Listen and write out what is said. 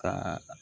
Ka